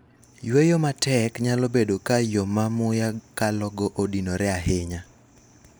yueyo matek nyalo bedo ka yoo ma muya kalogo odinore ahinya